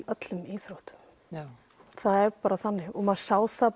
öllum íþróttum það er bara þannig og maður sá það